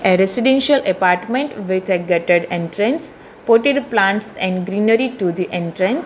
A residential apartment with a gatted entrance plotted plants and greenery to the entrance.